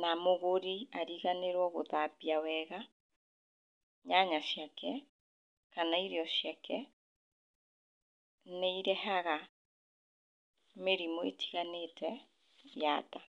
na mũgũri ariganĩrwo gũthambia wega nyanya ciake kana irio ciake, nĩ irehaga mĩrimũ ĩtiganĩte ya nda.